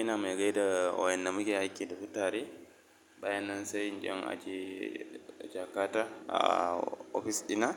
Ina mai gaida wayan namiji yake da futari bayan nan sai inje in aje jakata a ofis dina